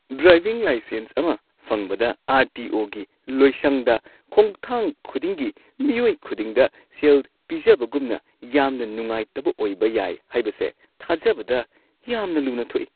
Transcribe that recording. Driving licence ꯑꯃ ꯐꯪꯕꯗ ꯑꯥꯔ.ꯇꯤ.ꯑꯣ.ꯒꯤ ꯂꯣꯏꯁꯪꯗ ꯈꯣꯡꯊꯥꯡ ꯈꯨꯗꯤꯡꯒꯤ ꯃꯤꯑꯣꯏ ꯈꯨꯗꯤꯡꯗ ꯁꯦꯜ ꯄꯤꯖꯕꯒꯨꯝꯅ ꯌꯥꯝꯅ ꯅꯨꯡꯉꯥꯏꯇꯕ ꯑꯣꯏꯕ ꯌꯥꯏ ꯍꯥꯏꯕꯁꯦ ꯊꯥꯖꯕꯗ ꯌꯥꯝꯅ ꯂꯨꯅ ꯊꯣꯛꯏ ꯫